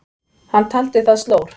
Hann taldi það slór.